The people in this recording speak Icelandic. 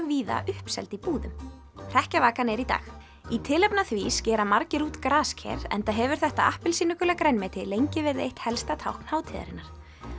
víða uppseld í búðum hrekkjavakan er í dag í tilefni af því skera margir út grasker enda hefur þetta appelsínugula grænmeti lengi verið eitt helsta tákn hátíðarinnar